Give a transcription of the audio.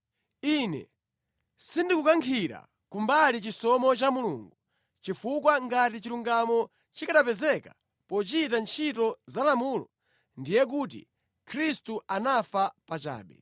Ine sindikukankhira kumbali chisomo cha Mulungu, chifukwa ngati chilungamo chikanapezeka pochita ntchito za lamulo, ndiye kuti Khristu anafa pachabe.”